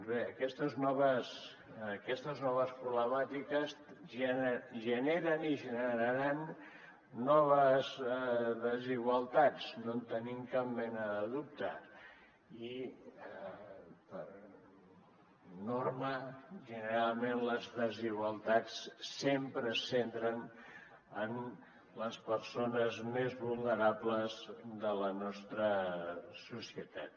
doncs bé aquestes noves problemàtiques generen i generaran noves desigualtats no en tenim cap mena de dubte i per norma generalment les desigualtats sempre es centren en les persones més vulnerables de la nostra societat